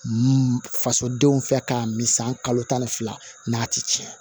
Fasodenw fɛ k'a min san kalo tan ni fila n'a ti tiɲɛ